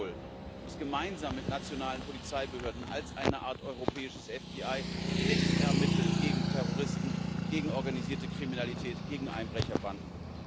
Europol muss gemeinsam mit nationalen Polizeibehörden als eine Art europäisches FBI mitermitteln gegen Terroristen, gegen organisierte Kriminalität, gegen Einbrecherbanden.